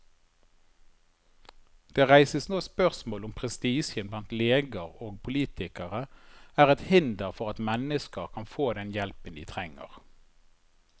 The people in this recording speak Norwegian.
Det reises nå spørsmål om prestisjen blant leger og politikere er et hinder for at mennesker kan få den hjelpen de trenger.